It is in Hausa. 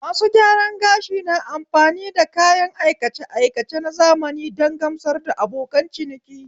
Masu gyaran gashi na amfani da kayan aikace aikace na zamani don gamsar da abokan ciniki